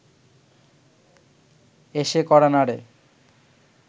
এসে কড়া নাড়ে